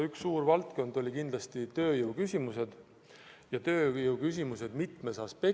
Üks suur valdkond oli kindlasti tööjõud – tööjõuküsimused mitmest aspektist.